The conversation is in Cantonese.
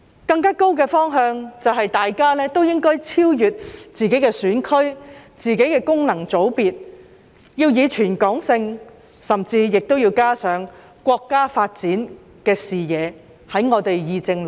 更高的方向就是我們議政論政時，大家都應該超越自己的選區、自己的功能界別，要以全港性的思維甚至加上國家發展的視野。